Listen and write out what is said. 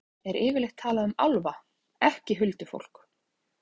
Í fornsögunum er yfirleitt talað um álfa, ekki huldufólk.